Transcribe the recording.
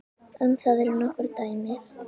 Um það eru nokkur dæmi.